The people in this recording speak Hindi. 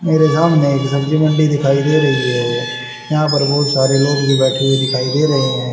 मेरे सामने एक सब्जी मंडी दिखाई दे रही है यहां पर बहुत सारे लोग बैठे हुए दिखाई दे रहे हैं।